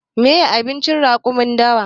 Meye abincin raƙumin dawa?